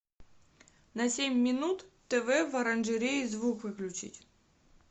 на семь минут тв в оранжерее звук выключить